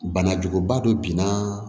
Bana juguba dɔ binna